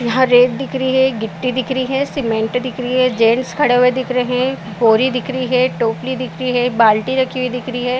यहाँ रेत दिख रही है गिट्टी दिख रही है सीमेंट दिख रही है जेंट्स खड़े हुए दिख रहे है बोरी दिख रही है टोपली दिख रही है बाल्टी रखी हुई दिख रही है।